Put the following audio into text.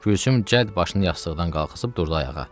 Gülsüm cəd başını yastıqdan qaxısıb durdu ayağa.